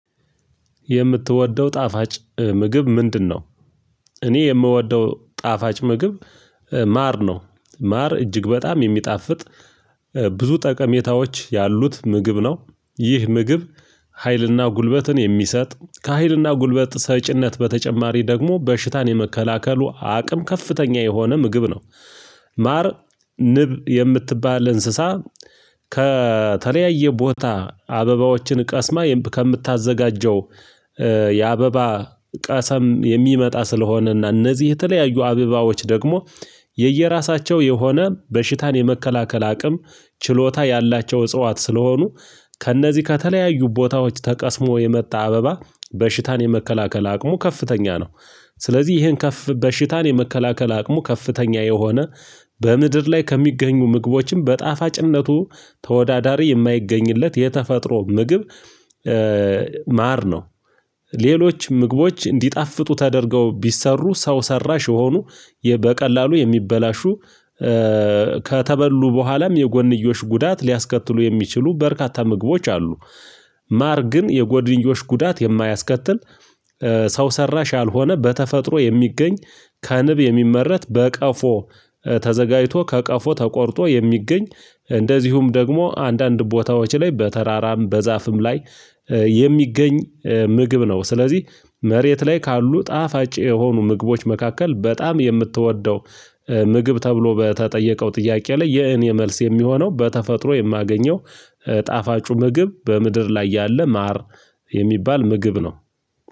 የምትወደው ጣፋጭ ምግብ ምንድነው? እኔ የምወደው ጣፋጭ ምግብ ማር ነው። ማር እጅግ በጣም የሚጣፍጥ ብዙ ጠቀሜታዎች ያሉት ምግብ ነው። ይህ ምግብ ሀይልና ጉልበትን የሚሰጥ ከሀይልና ጉልበት ሰጪነት በተጨማሪ ደግሞ በሽታን የመከላከሉ አቅም ከፍተኛ የሆነ ምግብ ነው። ማር ንብ የምትባል እንስሳ። ከተለያየ ቦታ አበባዎችን ቀስማ ከምታዘጋጀው ያበባ ቀሰም የሚመጣ ስለሆነና እነዚህ የተለያዩ አበባዎች ደግሞ የየራሳቸው የሆነ በሽታን የመከላከል አቅም ችሎታ ያላቸው እጽዋት ስለሆኑ ከእነዚህ ከተለያዩ ቦታዎች ተቀስሞ የመጣ አበባ በሽታን የመከላከል አቅሙ ከፍተኛ ነው። ስለዚህ ይሄን ከፍ በሽታን የመከላከል አቅሙ ከፍተኛ የሆነ በምድር ላይ ከሚገኙ ምግቦችም በጣፋጭነቱ ተወዳዳሪ የማይገኝለት የተፈጥሮ ምግብ። ማር ነው። ሌሎች ምግቦች እንዲጣፍጡ ተደርገው ቢሰሩ ሰው ሰራሽ የሆኑ በቀላሉ የሚበላሹ ከተበሉ በኋላም የጎንዮሽ ጉዳት ሊያስከትሉ የሚችሉ በርካታ ምግቦች አሉ። ማር ግን የጎድንጆሽ ጉዳት የማያስከትል። ሰው ሰራሽ ያልሆነ በተፈጥሮ የሚገኝ ከንብ የሚመረት በቀፎ ተዘጋጅቶ ከቀፎ ተቆርጦ የሚገኝ እንደዚሁም ደግሞ አንዳንድ ቦታዎች ላይ በተራራም በዛፍም ላይ የሚገኝ ምግብ ነው። ስለዚህ መሬት ላይ ካሉ ጣፋጭ የሆኑ ምግቦች መካከል በጣም የምትወደው ምግብ ተብሎ በተጠየቀው ጥያቄ ላይ የእኔ መልስ የሚሆነው በተፈጥሮ የማገኘው ጣፋጩ ምግብ በምድር ላይ ያለ ማር የሚባል ምግብ ነው።